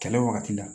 Kɛlɛ wagati la